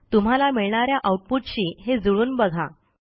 तुम्हाला मिळणा या आऊटपुटशी हे जुळवून बघा